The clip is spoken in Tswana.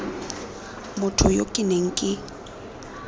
motho yo ke neng ke